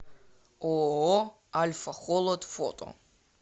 ооо альфа холод фото